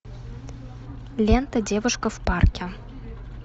лента девушка в парке